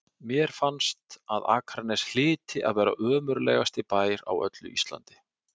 Mér fannst að Akranes hlyti að vera ömurlegasti bær á öllu Íslandi.